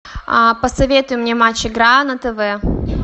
посоветуй мне матч игра на тв